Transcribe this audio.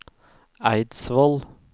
Eidsvoll